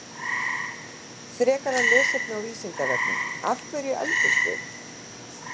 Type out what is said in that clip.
Frekara lesefni á Vísindavefnum: Af hverju eldumst við?